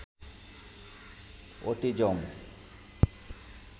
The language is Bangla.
অটিজম